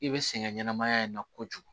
I bɛ sɛgɛn ɲɛnamaya in na kojugu